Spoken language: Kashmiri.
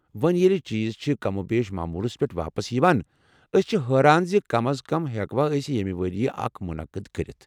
وۄنۍ ییٚلہ چیٖز چھِ کم و بیش معمولس پٮ۪ٹھ واپس چھِ یوان، ٲسۍ چھِ حٲران زِ كم از كم ہیكوا أسۍ ییمہِ ورییہ اكھ مُنعقد كرِتھ ؟